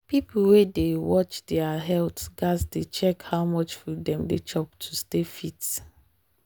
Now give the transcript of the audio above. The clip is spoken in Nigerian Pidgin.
people wey dey watch their health gats dey check how much food dem dey chop to stay fit.